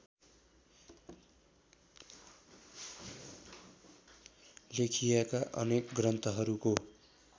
लेखिएका अनेक ग्रन्थहरूको